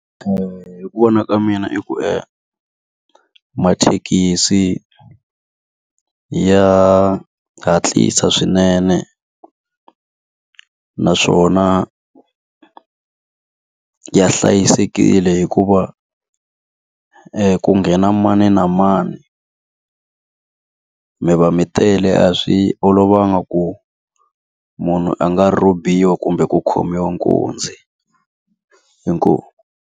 hi ku vona ka mina i ku mathekisi ya hatlisa swinene, naswona ya hlayisekile hikuva ku nghena mani na mani. Mi va mi tele a swi olovanga ku munhu a nga rhobiwa kumbe ku khomiwa nkunzi, inkomu.